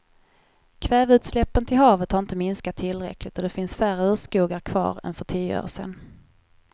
Kväveutsläppen till havet har inte minskat tillräckligt och det finns färre urskogar kvar än för tio år sedan.